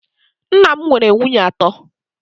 Nna m nwere nwunye atọ